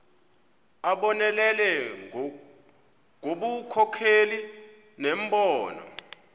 abonelele ngobunkokheli nembono